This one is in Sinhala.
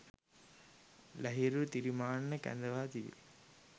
ලහිරු තිරිමාන්න කැඳවා තිබේ.